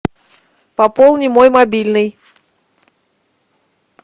пополни мой мобильный